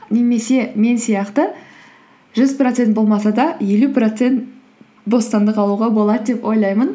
немесе мен сияқты жүз процент болмаса да елу процент бостандық алуға болады деп ойлаймын